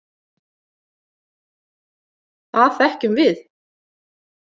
Það þekkjum við.